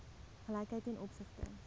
gelykheid ten opsigte